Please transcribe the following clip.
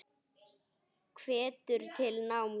Hvetur til náms.